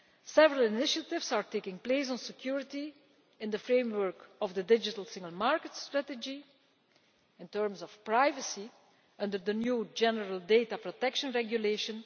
Several initiatives are taking place on security in the framework of the digital single market strategy in terms of privacy under the new general Data Protection Regulation.